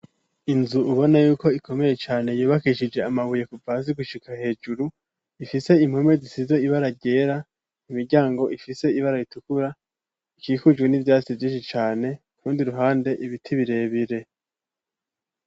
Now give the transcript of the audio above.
Inzu ubona yuko ikomeye cane yubakishije amabuye kuva hasi gushyika hejuru ifise impome zisize ibara ryera imiryango ifise ibara ritukura ikikujwe n'ivyasiti vyishi cane kurundi ruhande ibiti birebire.